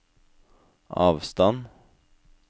avstand